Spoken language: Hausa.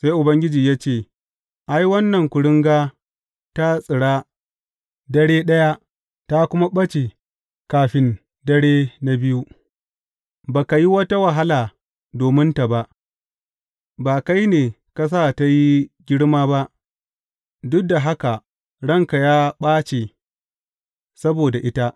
Sai Ubangiji ya ce, Ai, wannan kuringa ta tsira dare ɗaya ta kuma ɓace kafin dare na biyu, ba ka yi wata wahala dominta ba, ba kai ne ka sa ta yi girma ba, duk da haka ranka ya ɓace saboda ita.